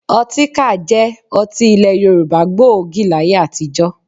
Ọtíkà jẹ́ ọtí ilẹ̀ Yorùbá gbòógì láyé àtijọ́